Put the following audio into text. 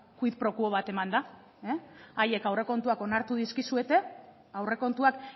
quid pro quo bat eman da haiek aurrekontuak onartu dizkizuete aurrekontuak